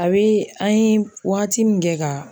A bi an ye wagati min kɛ ka